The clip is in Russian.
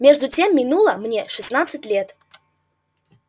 между тем минуло мне шестнадцать лет